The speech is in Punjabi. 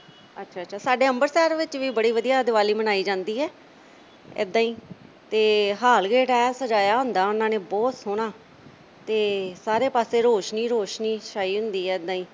ਅੱਛਾ-ਅੱਛਾ ਸਾਡੇ ਅੰਮ੍ਰਿਤਸਰ ਵਿੱਚ ਵੀ ਬੜੀ ਵਧੀਆ ਦਿਵਾਲੀ ਮਨਾਈ ਜਾਂਦੀ ਐ ਐਦਾ ਹੀ ਤੇ ਹਾਲ ਗੇਟ ਆਏ ਸਜ਼ਾਇਆ ਹੁੰਦਾ ਉਨ੍ਹਾਂ ਨੇ ਬਹੁਤ ਸੋਹਣਾ। ਤੇ ਸਾਰੇ ਪਾਸੇ ਰੋਸ਼ਨੀ ਹੀ ਰੋਸ਼ਨੀ ਛਾਈ ਹੁੰਦੀ ਐ ਐਦਾ ਹੀ